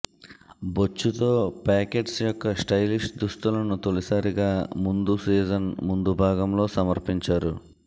బొచ్చు తో పాకెట్స్ యొక్క స్టైలిష్ దుస్తులను తొలిసారిగా ముందు సీజన్ ముందు భాగంలో సమర్పించారు